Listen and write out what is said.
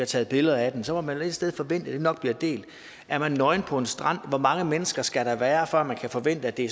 taget billeder af den så må man et sted forvente at det nok bliver delt er man nøgen på en strand hvor mange mennesker skal der så være før man kan forvente at det